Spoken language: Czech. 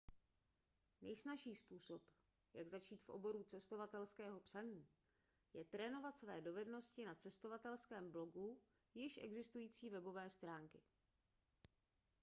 nejsnazší způsob jak začít v oboru cestovatelského psaní je trénovat své dovednosti na cestovatelském blogu již existující webové stránky